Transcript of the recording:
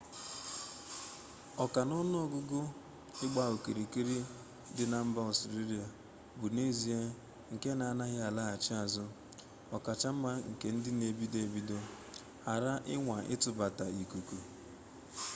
oka-na-onuogugu igba-okirikiri di na mba australia bu n'ezie nke na anaghi alaghachi azu okacha nma nke ndi n'ebido-ebido ghara inwa itubata ikuku